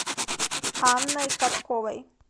анной катковой